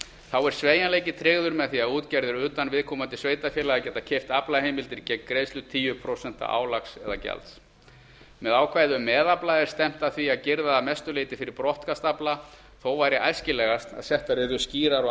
þá er sveigjanleiki tryggður með því að útgerðir utan viðkomandi sveitarfélaga geta keypt aflaheimildir gegn greiðslu tíu prósent álags eða gjalds með ákvæði um meðafla er stefnt að því að girða að mestu leyti fyrir brottkast afla þó væri æskilegast að settar yrðu skýrar og